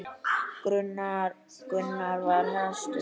Gunnar var hastur.